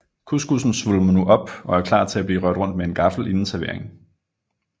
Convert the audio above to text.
Couscoussen svulmer nu op og er klar til blive rørt rundt med en gaffel inden servering